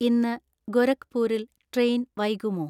ഇന്ന് ഗോരഖ്പൂരിൽ ട്രെയിൻ വൈകുമോ